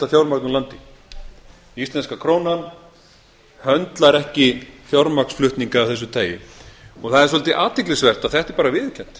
fjármagn úr landi íslenska krónan höndlar ekki fjármagnsflutninga af þessu tagi það er svolítið athyglisvert að þetta er bara viðurkennt